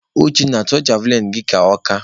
Uchenna, tụtee javlịnụ gị aka!